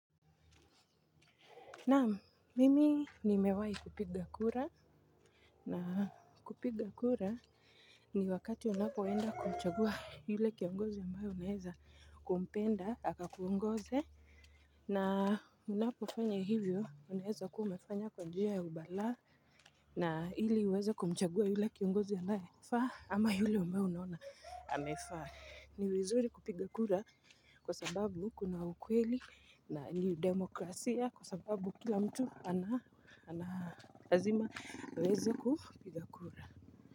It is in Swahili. Naam mimi nimewahi kupiga kura na kupiga kura ni wakati unapoenda kumchagua yule kiongozi ambaye unaeza kumpenda akakuongoze na unapofanya hivyo unaeza kuwa umefanya kwa njia ya ubalaa na hili uweze kumchagua yule kiongozi ambaye anafaa ama yule umeona amefaa. Ni vizuri kupiga kura kwa sababu kuna ukweli na niudemokrasia kwa sababu kila mtu ana lazima aweze kupiga kura.